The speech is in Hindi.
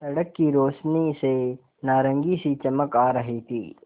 सड़क की रोशनी से नारंगी सी चमक आ रही थी